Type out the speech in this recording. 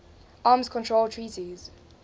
arms control treaties